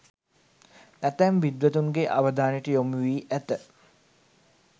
ඇතැම් විද්වතුන්ගේ අවධානයට යොමුවී ඇත.